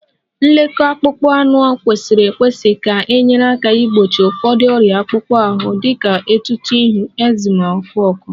Nlekọta akpụkpọ anụ kwesịrị ekwesị ga-enyere aka gbochie ụfọdụ ọrịa akpụkpọ ahụ dị ka etuto ihu, ekzima, ọkụ ọkụ